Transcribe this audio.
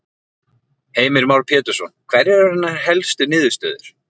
Heimir Már Pétursson: Hverjar eru hennar helstu niðurstöður?